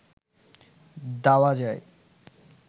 দেওয়া যায়